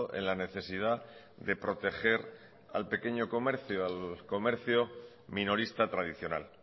en la necesidad de proteger al pequeño comercio al comercio minorista tradicional